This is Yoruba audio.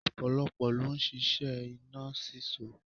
Ọlọ́pọlọ ló ń ṣíṣẹ́ iná sísó